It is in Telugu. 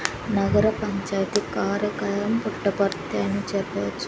నగర పంచాయితీ కారక పుట్టపర్తి అని చెప్పవచ్చు.